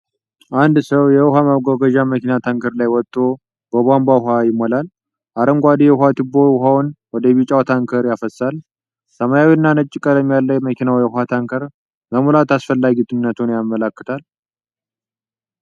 አንድ ሰው የውሃ ማጓጓዣ መኪና ታንከር ላይ ወጥቶ በቧንቧ ውሃ ይሞላል። አረንጓዴው የውኃ ቱቦ ውኃውን ወደ ቢጫው ታንከር ያፈሳል። ሰማያዊና ነጭ ቀለም ያለው የመኪናው የውሃ ታንከር መሙላት አስፈላጊነቱን ያመለክታል።